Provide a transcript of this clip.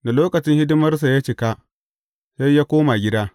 Da lokacin hidimarsa ya cika, sai ya koma gida.